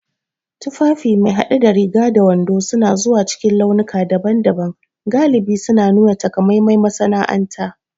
Tufafi me hade da riga da wando suna zuwa cikin launuka daban-daban, galibi suna nuna takamaiman masana'anta.